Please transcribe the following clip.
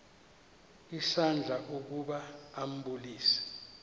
isandla ukuba ambulise